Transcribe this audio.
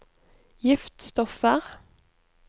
giftstoffer